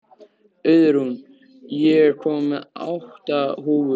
Auðrún, ég kom með átta húfur!